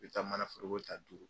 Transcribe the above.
I bɛ taa mana foroko taa duuru.